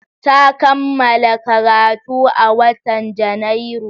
Ta kammala karatu a watan Janairu.